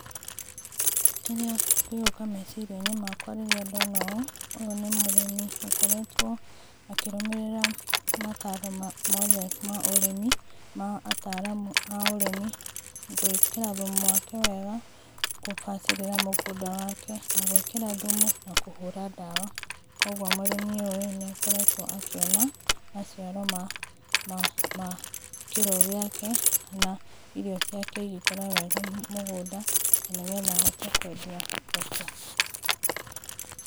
Kĩrĩa kĩroka mecirĩa inĩ makwa rĩrĩa ndona ũũ ũyũ nĩ mũrĩmi ũkoretwo akĩrũmĩrĩra mataro mothe ma ũrĩmi ma ataramũ a ũrĩmi, gwĩkĩra thũmũ wake wega kũbacirĩra mũgũnda wake na gwĩkĩra thũmũ na kũhũra dawa kwogo mũrĩmi ũyũ nĩakoretwo akĩona maciaro ma ma ma kĩrĩo gĩake kana irio ciake igĩkũra mũgũnda na nĩ getha ahote kũendĩa thoko.